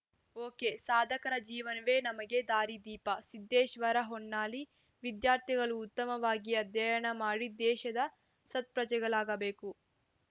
ಒಕೆಸಾಧಕರ ಜೀವನವೇ ನಮಗೆ ದಾರಿದೀಪ ಸಿದ್ದೇಶ್ವರ ಹೊನ್ನಾಳಿ ವಿದ್ಯಾರ್ಥಿಗಳು ಉತ್ತಮವಾಗಿ ಅಧ್ಯಯನ ಮಾಡಿ ದೇಶದ ಸತ್ಪ್ರಜೆಗಳಾಗಬೇಕು